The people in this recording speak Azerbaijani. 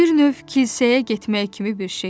Bir növ kilsəyə getmək kimi bir şeydir.